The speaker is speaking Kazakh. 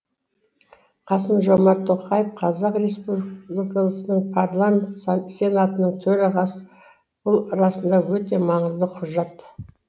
қасым жомарт тоқаев қазақ республикасының парламенті сенатының төрағасы бұл расында өте маңызды құжат